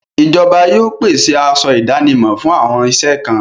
Ìjọba yóò pèsè aṣọ ìdánimọ̀ fún àwọn iṣẹ́ kan.